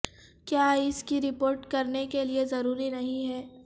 کیا اس کی رپورٹ کرنے کے لئے ضروری نہیں ہے